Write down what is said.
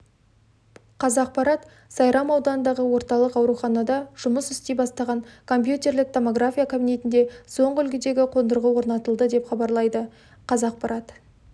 қазақпарат сайрам ауданындағы орталық ауруханадажұмыс істей бастаған компьютерлік-томография кабинетінде соңғы үлгідегі қондырғы орнатылды деп хабарлайды қазақпарат